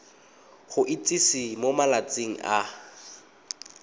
go itsise mo malatsing a